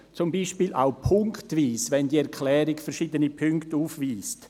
zum Beispiel auch punktweise, sollte die Erklärung verschiedene Punkte aufweisen.